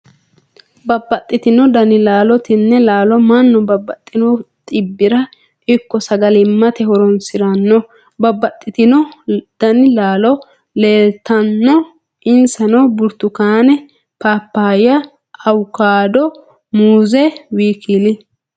Babaxitino dani laalo, tini laalo manu babaxino xibira ikko sagalimate horonsiranno, banaxitino dani laalo leelitano insano buritukaane, paapaya awukaado, muuze wkl